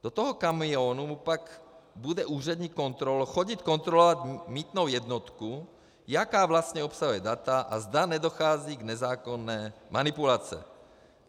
Do toho kamionu mu pak bude úřední kontrolor chodit kontrolovat mýtnou jednotku, jaká vlastně obsahuje data a zda nedochází k nezákonné manipulaci.